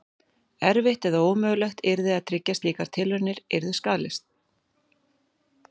Erfitt eða ómögulegt yrði að tryggja að slíkar tilraunir yrðu skaðlausar.